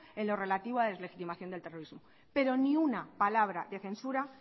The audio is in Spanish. en lo relativo a deslegitimación del terrorismo pero ni una palabra de censura